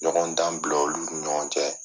Ɲɔgɔn dan bila olu ni ɲɔgɔn cɛ.